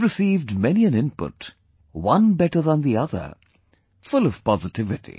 I have received many an input, one better than the other, full of positivity